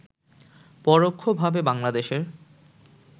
পরোক্ষভাবে বাংলাদেশের